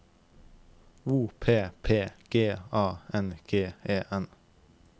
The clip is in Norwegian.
O P P G A N G E N